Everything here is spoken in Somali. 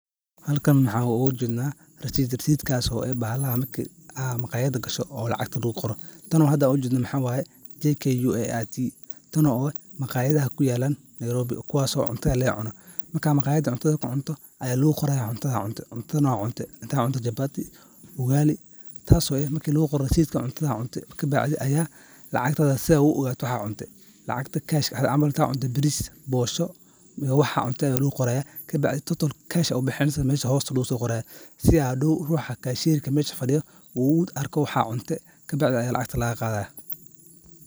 Halkan maxan oga jedna , tano ah JKUT rasidkoda taso tusinesa wixi aad cunte oo waxey tarjumesa wixi aad cunto taso micnahedu uu yahay qofka , marju hotel galo oo wixi uso cuni ini bilkisa lasiyo oo wax latuso, wixi lagu yesho mesha hose ayaa logu so qorayaa si hadow ruxa kashyaga oo mesha fadiyo u u arko waxad cunte , lacagtana sas ayaa lagaga qadaya.